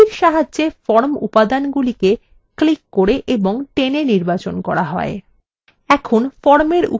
এটির সাহায্যে form উপাদানগুলিকে ক্লিক করে এবং টেনে নির্বাচন করা হয়